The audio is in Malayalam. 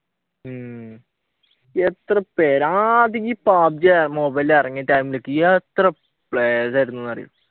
ഉം എത്ര പേരാ ആദ്യം ഈ പബ്‌ജി മൊബൈലിൽ ഇറങ്ങിയിട്ട് എത്ര players ആയിരുന്നു എന്നറിയോ